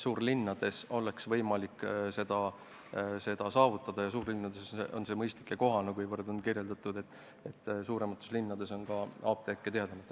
Suurlinnades oleks võimalik see eesmärk saavutada ja suurlinnades oleks see mõistlik ja kohane, kuivõrd on kirjeldatud, et suuremates linnades on apteeke tihedamalt.